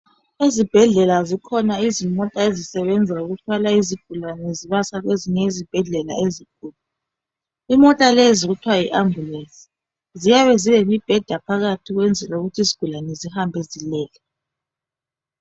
Ezibhedlela zikhona izimota ezisebenza ukuthwala izigulane zibasa kwezinye izibhedlela ezinkulu. Imota lezi kuthwa yi ambulance. Ziyabe zilemibheda phakathi ukwenzela ukuthi izigulane zihambe zilele.